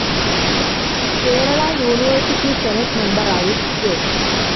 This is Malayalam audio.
കേരള യൂണിവേഴ്സിറ്റി സെനെറ്റ്‌ മെമ്പറായും കെ.